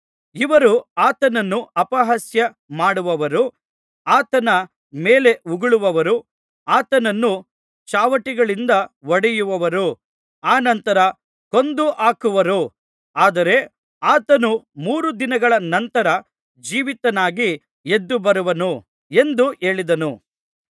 ಇವರು ಆತನನ್ನು ಅಪಹಾಸ್ಯ ಮಾಡುವರು ಆತನ ಮೇಲೆ ಉಗುಳುವರು ಆತನನ್ನು ಚಾವಟಿಗಳಿಂದ ಹೊಡೆಯುವರು ಅನಂತರ ಕೊಂದು ಹಾಕುವರು ಆದರೆ ಆತನು ಮೂರು ದಿನಗಳ ನಂತರ ಜೀವಿತನಾಗಿ ಎದ್ದು ಬರುವನು ಎಂದು ಹೇಳಿದನು